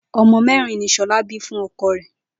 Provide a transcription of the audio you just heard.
O̩mo̩ mé̩rin ni S̩o̩lá bí fún o̩ko̩ rè̩?